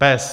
PES.